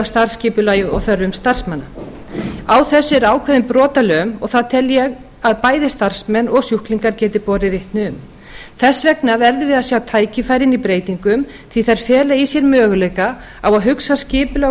starfsskipulagi og þörfum starfsmanna á þessu er ákveðin brotalöm og það tel ég að bæði starfsmenn og sjúklingar geti borið vitni um þess vegna verðum við að sjá tækifærin í breytingum því að þær fela í sér möguleika á að hugsa skipulag og